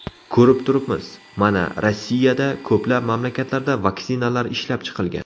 Ko‘rib turibmiz, mana Rossiyada, ko‘plab mamlakatlarda vaksinalar ishlab chiqilgan.